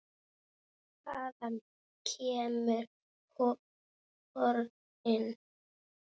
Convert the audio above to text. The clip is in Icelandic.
Hvaðan kemur horinn?